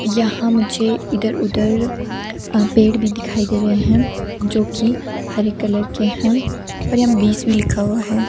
यहां मुझे इधर उधर अ पेड़ भी दिखाई दे रहे हैं जो कि हरे कलर के है और यहां बीस भी लिखा हुआ है।